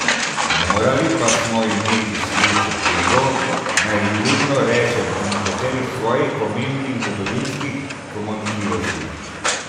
Morali pa smo imeti slepo pego, naj vljudno rečem, o nekaterih svojih pomembnih zgodovinskih pomanjkljivostih.